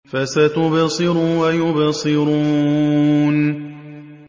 فَسَتُبْصِرُ وَيُبْصِرُونَ